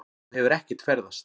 Þú hefur ekkert ferðast.